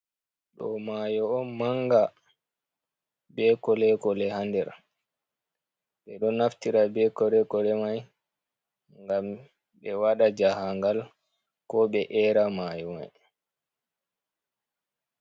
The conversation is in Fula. Ɗo mayo on manga be kolekole ha nder, ɓe ɗo naftira be kolekole mai gam ɓe waɗa jahangal ko ɓe era mayo mai.